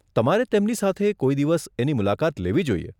તમારે તેમની સાથે કોઈ દિવસ એની મુલાકાત લેવી જોઈએ.